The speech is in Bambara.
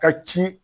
Ka ci